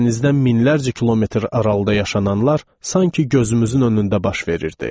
Dənizdən minlərcə kilometr aralıda yaşananlar sanki gözümüzün önündə baş verirdi.